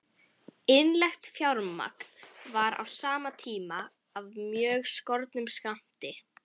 Innlent fjármagn var á sama tíma af mjög skornum skammti.